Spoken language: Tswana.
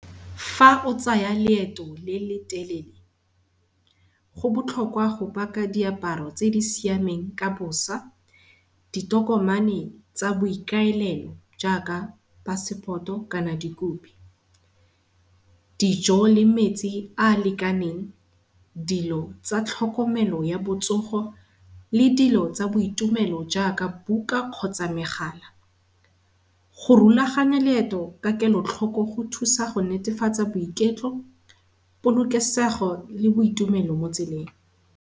Fa o tsaya leeto le le telele go botlhokwa go paka diaparo tse di siameng ka bosa, di tokomane tsa boikaelelo jaaka passport-o kana dikupi. Dijo le metsi a lekaneng, dilo tsa tlhokomelo ya botsogo le dilo tsa boitumelo jaaka buka kgotsa megala. Go rulaganya leeto ka kelotlhoko go thusa go netefatsa boiketlo, polokesego le boitumelo mo tseleng.